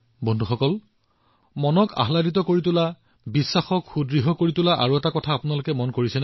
বন্ধুসকল আন এটা বস্তু আছে যি মনটোক সুখেৰে ভৰাই তোলে আৰু বিশ্বাস দৃঢ় কৰে